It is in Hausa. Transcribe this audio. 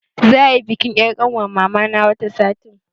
Za'a yi bikin yar' ƙanwar mamana wata sati.